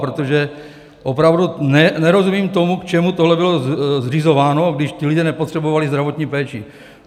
Protože opravdu nerozumím tomu, k čemu tohle bylo zřizováno, když ti lidé nepotřebovali zdravotní péči?